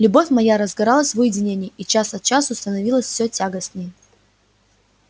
любовь моя разгоралась в уединении и час от часу становилась мне тягостнее